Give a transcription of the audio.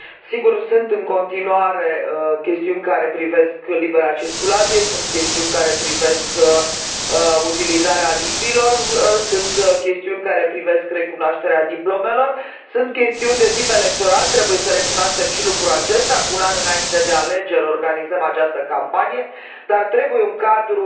Sigur, sunt în continuare chestiuni care privesc libera circulație, sunt chestiuni care privesc utilizarea limbilor, sunt chestiuni care privesc recunoașterea diplomelor, sunt chestiuni de tip electoral, trebuie să recunoaștem și lucrul acesta, cu un an înainte de alegeri organizăm această campanie, dar trebuie un cadru